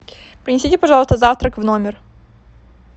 принесите пожалуйста завтрак в номер